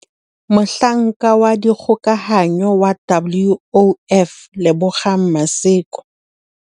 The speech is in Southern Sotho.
Mohlanka wa dikgokahanyo wa WOF Lebogang Maseko.